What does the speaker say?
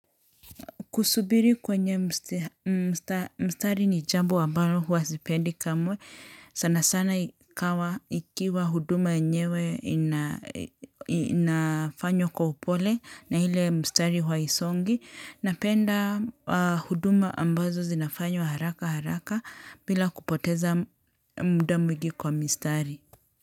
Kusubiri kwenye mstari ni jambo ambalo huwa sipendi kamwe. Sana sana ikawa ikiwa huduma yenyewe inafanywa kwa upole na ile mstari huwa haisongi. Napenda huduma ambazo zinafanywa haraka haraka bila kupoteza muda mwingi kwa mistari.